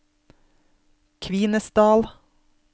Kvinesdal